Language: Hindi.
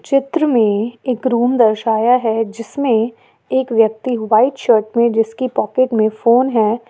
चित्र में एक रूम दर्शाया है जिसमें एक व्यक्ति व्हाइट शर्ट में जिसके पॉकेट में फोन है।